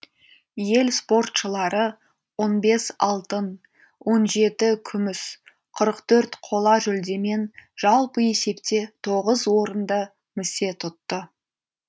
ел спортшылары он бес алтын он жеті күміс қырық төрт қола жүлдемен жалпы есепте тоғыз орынды місе тұтты